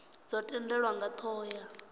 dzo tendelwa nga thoho ya